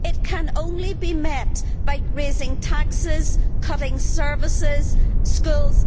It can only be met by raising taxes, cutting services, schools